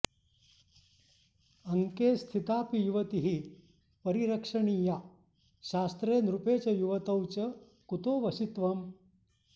अङ्के स्थितापि युवतिः परिरक्षणीया शास्त्रे नृपे च युवतौ च कुतो वशित्वम्